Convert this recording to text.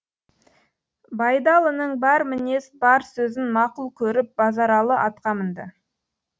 байдалының бар мінез бар сөзін мақұл көріп базаралы атқа мінді